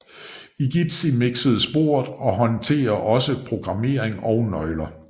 Egizii mixede sporet og håndtere også programmering og nøgler